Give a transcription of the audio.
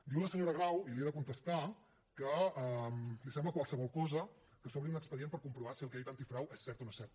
diu la senyora grau i li he de contestar que li sembla qualsevol cosa que s’obri un expedient per comprovar si el que ha dit antifrau és cert o no és cert